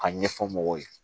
A ɲɛfɔ mɔgɔw ye